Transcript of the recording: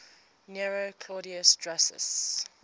nero claudius drusus